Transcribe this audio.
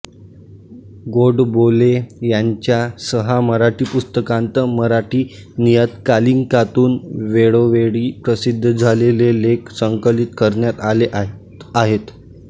गोडबोले यांच्या सहा मराठी पुस्तकांत मराठी नियतकालिकांतून वेळोवेळी प्रसिद्ध झालेले लेख संकलित करण्यात आले आहेत